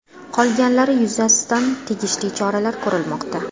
Qolganlari yuzasidan tegishli choralar ko‘rilmoqda.